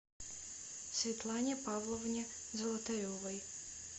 светлане павловне золотаревой